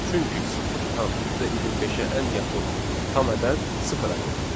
Çünki 0.25-ə ən yaxın tam ədəd sıfır ədədidir.